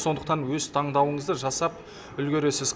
сондықтан өз таңдауыңызды жасап үлгересіз